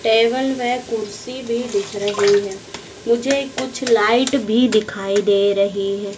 Table में कुर्सी भी दिख रही है मुझे कुछ लाइट भी दिखाई दे रही है।